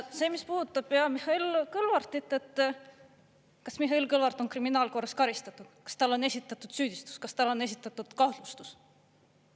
See, mis puudutab pea Mihhail Kõlvartit, kas Mihhail Kõlvart on kriminaalkorras karistatud, kas talle on esitatud süüdistus, kas talle on esitatud kahtlustus?